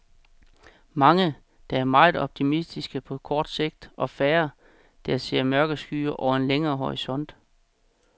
Mange, der er meget optimistiske på kort sigt og færre, der ser mørke skyer over en længere horisont.